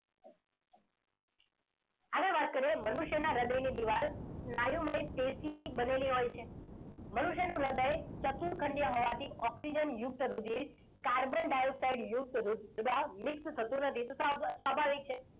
હવે વાત કરીએ મનુષ્યના હૃદયની દીવાલ સ્નાયુમય પેશીની બનેલી હોય છે. મનુષ્યનું હૃદય ચતુર ખંડીય હોવાથી ઓક્સિજનયુક્ત રુધિર કાર્બન ડાયોક્સાઇડ યુક્ત રુધિર mix થતું નથી. તો સ્વાભાવિક છે.